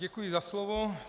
Děkuji za slovo.